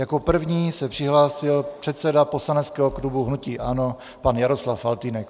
Jako první se přihlásil předseda poslaneckého klubu hnutí ANO pan Jaroslav Faltýnek.